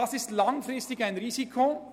Das ist ein langfristiges Risiko.